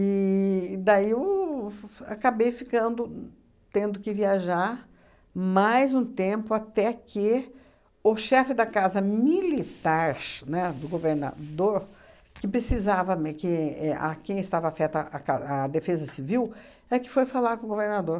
daí o f f, acabei ficando tendo que viajar mais um tempo, até que o chefe da casa militar, né, do governador, que precisava me que é a quem estava afeta à ca à defesa civil, é que foi falar com o governador.